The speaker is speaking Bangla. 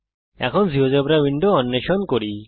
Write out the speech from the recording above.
এখন জীয়োজেব্রা উইন্ডো অন্বেষণ করি